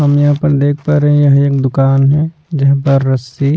हम यहां पर देख पा रहे हैं यह एक दुकान है जहां पर रस्सी--